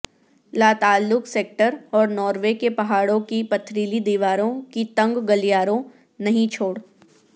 لاتعلق سیکٹر اور ناروے کے پہاڑوں کی پتھریلی دیواروں کی تنگ گلیاروں نہیں چھوڑ